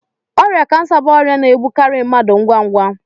Ọrịa kansa bụ ọrịa na-egbukarị mmadụ ngwa ngwa.